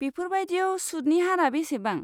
बेफोरबायदियाव सुदनि हारा बेसेबां?